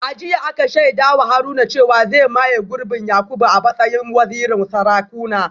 A jiya aka shaida wa Haruna cewa zai maye gurbin Yakubu a matsayin wazirin Sarakuna